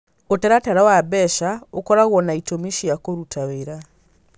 Ũtaratara wa mbeca ũkoragwo na itũmi cia kũruta wĩra.